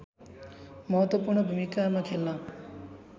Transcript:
महत्त्वपू्र्ण भूमिका खेल्न